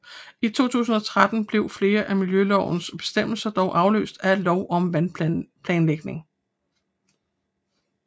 I 2013 blev flere af miljømålslovens bestemmelser dog afløst af Lov om vandplanlægning